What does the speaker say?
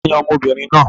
Ta ni ọmọ obìnrin náà?